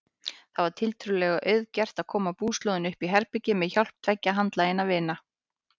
Það var tiltölulega auðgert að koma búslóðinni uppí herbergið með hjálp tveggja handlaginna vina.